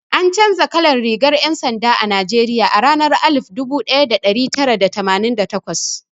An canza kalar rigar 'yan sanda a Najeriya a ranar alif dubu daya da dari tara da tamanin da takwas.